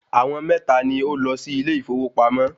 Àwọn mẹ́ta ni ó lọ sí ilé ìfowópamọ́